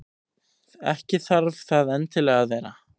Ekki þarf það endilega að vera.